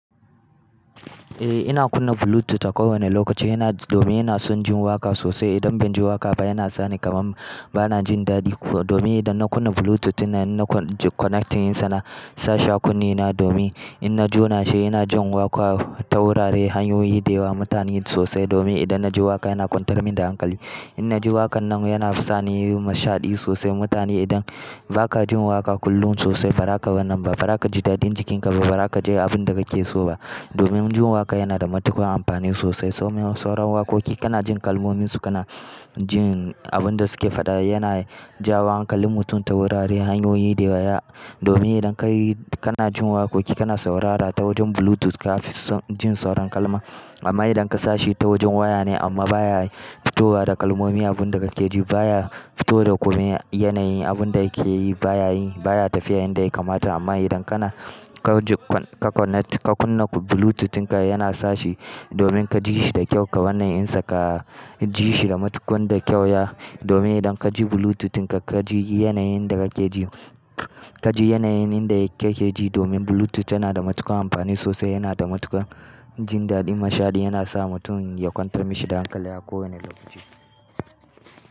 Eh ina kunna Bluetooth a kowane lokaci domin ina son jin waƙa sosai. Idan ban ji waƙa ba yana sani kamar bana jin daɗi kuma domin idan na kunna Bluetooth ina connecting yinsa na sashi a kunnena domin idan na jona shi ina jin waƙa ta wuraren hanyoyi da yawa. Mutane sosai domin idan na ji waƙa yana kwantar min da hankali. Inna ji waƙan nan yana sani mashadi sosai. Mutane idan ba ka jin waƙa kullum sosai bara ka wannan ba, bara ka ji daɗin jikinka ba, bara ka je abin da kake so ba. Domin jin waƙa yana da matuƙar amfani sosai. Sauran waƙoƙi kana jin kalmominsu, kana jin abin da suke faɗa yana jawo hankalin mutum ta wurare hanyoyi da yawa. Domin idan kai kana jin waƙoƙi kana saurara ta wajen Bluetooth ka fi jin sauran kalma. Amma idan ka sashi ta wajen waya ne amma baya fito wa da kalmomi abin da kake ji baya fito da komai yanayi abun da yake yi baya tafiya yanda ya kamata. Amma idan kana ka kunna Bluetooth inka yana sashi domin ka ji shi da kyau ka wannan insa, ka ji shi da matuƙar da kyau ya domin idan ka ji Bluetooth inka ka ji yanayin da kake ji, ka ji yanayin da yakeji domin Bluetooth yana da matuƙar amfani sosai, yana da matuƙar jin daɗin, mashaɗi yana sa mutum ya kwantar mishi da hankali a kowane lokaci.